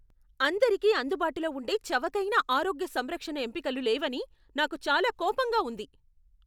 అందరికీ అందుబాటులో ఉండే చవకైన ఆరోగ్య సంరక్షణ ఎంపికలు లేవని నాకు చాలా కోపంగా ఉంది.